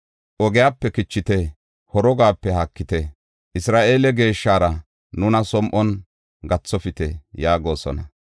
Ogiyape kichite; horogape haakite; Isra7eele Geeshshara nuna som7on gathofite” yaagosona.